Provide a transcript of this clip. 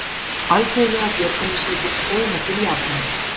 Alþjóðlegar björgunarsveitir streyma til Japans